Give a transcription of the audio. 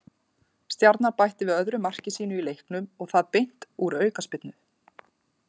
Stjarnan bætti við öðru marki sínu í leiknum og það beint úr aukaspyrnu.